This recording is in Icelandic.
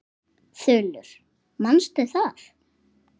Þulur: Manstu það?